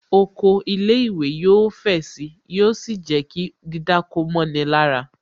Oko ilé ìwé yóò fẹ̀ sì. Yóò sì jẹ́ kí dídáko mọ́ni lára